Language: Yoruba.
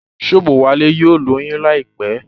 Shobowale yóò lóyún láìpé.